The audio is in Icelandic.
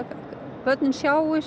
börnin sjáist